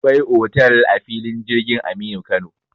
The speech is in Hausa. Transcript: Akwai otal a filin jirgin Aminu Kano.